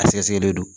A sɛgɛsɛgɛli don